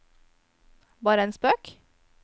bare en spøk